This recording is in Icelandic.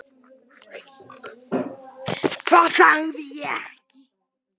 Hvað sagði ég ekki?